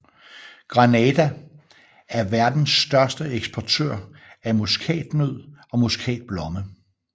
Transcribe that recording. Grenada er verdens største eksportør af muskatnød og muskatblomme